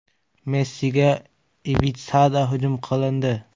Messiga Ibitsada hujum qilindi.